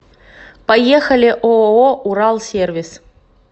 поехали ооо уралсервис